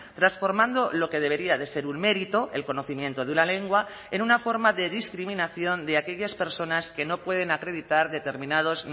transformando lo que debería de ser un mérito el conocimiento de una lengua en una forma de discriminación de aquellas personas que no pueden acreditar determinados